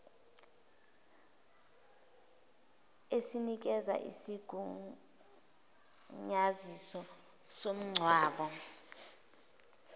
esinikeza isigunyaziso somngcwabo